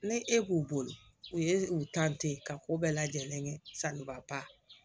Ni e k'u bolo u ye u ka ko bɛɛ lajɛlen kɛ sanuba